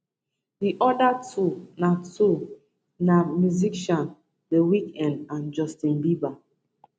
di oda two na two na musicians the weeknd and justin bieber